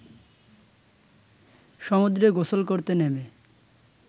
সমুদ্রে গোসল করতে নেমে